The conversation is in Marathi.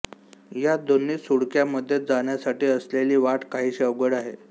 या दोन्ही सुळक्यामधे जाण्यासाठी असलेली वाट काहीशी अवघड आहे